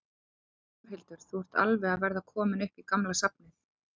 Þórhildur: Þú ert alveg að verða kominn upp í gamla safnið?